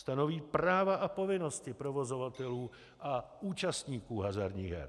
Stanoví práva a povinnosti provozovatelů a účastníků hazardních her.